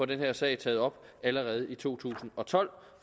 den her sag taget op allerede i to tusind og tolv